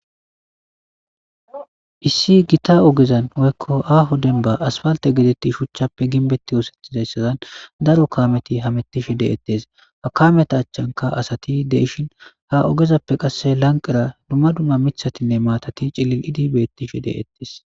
issi gita ogezan woykko aaho denba asfalte gedetti shuchchappe ginbeti woosethizayssazan daro kaameti hametishe de7ettes hakameta achchanka asati deishin ha ogezappe qasse lanqera dumma dumma mithatinne maatati cillil idibeettishe de7ettes